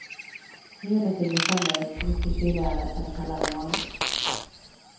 Juni till december mycket kyligare eller kallare än vanligt.